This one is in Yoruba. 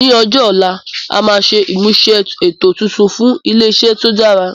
Ní ọjọ́ ọ̀la, a máa ṣe ìmúṣe ètò tuntun fún ilé iṣẹ́ tó dára